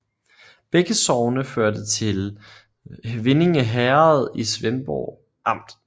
Begge sogne hørte til Vindinge Herred i Svendborg Amt